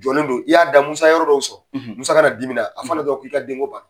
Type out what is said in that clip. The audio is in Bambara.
Jɔlen do i y'a da, Musa ye yɔrɔ dɔw sɔrɔ, Musa ka na dimina, a f'a ɲɛna dɔrɔn k'i ka denko